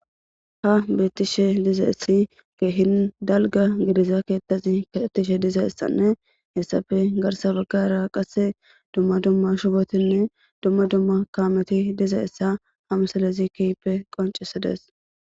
Ha bettishe diza issi keehin dalga gidiza keettazi kaxetishe diza issanne hessafe garsa baggara qasse dumma dumma shubotinne dumma dumma kaameti diza issa ha msalezikippe qoncisides.